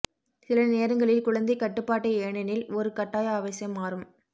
சில நேரங்களில் குழந்தை கட்டுப்பாட்டை ஏனெனில் ஒரு கட்டாய ஆவேசம் மாறும்